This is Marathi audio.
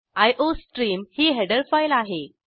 आयोस्ट्रीम ही हेडर फाईल आहे